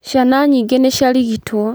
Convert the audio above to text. Ciana nyingĩ nĩ ciarigitwo.